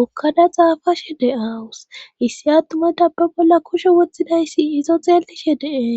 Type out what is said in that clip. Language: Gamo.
okkada xaafashe de aawus issi attumataba bolla kushe woththidayssi izo xeellishe dee.